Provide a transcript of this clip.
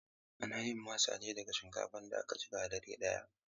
Ana yin masa ne daga shinkafa da aka jiƙa dare ɗaya.